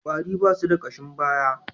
Kwarare ba su da kashin baya.